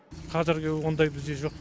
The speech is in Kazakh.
қазіргі ондай бізде жоқ